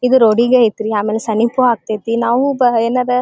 ಇದು ರೋಡಿಗೆ ಐತ್ರಿ ಆಮೇಲೆ ಸಮೀಪ್ ಆಗ್ತಾತಿ ನಾವು ಎಲ್ಲರ --